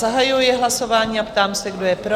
Zahajuji hlasování a táži se, kdo je pro?